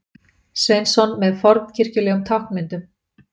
Sveinsson með fornkirkjulegum táknmyndum.